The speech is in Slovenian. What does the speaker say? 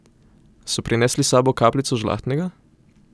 So prinesli s sabo kapljico žlahtnega?